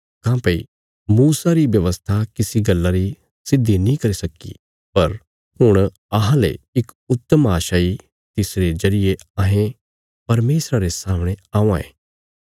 काँह्भई मूसा री व्यवस्था किसी गल्ला री सिद्धि नीं करी सक्की पर हुण अहांले इक उत्तम आशा इ तिसरे जरिये अहें परमेशरा रे सामणे औआं ये